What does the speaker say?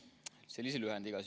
Selline lühend siis.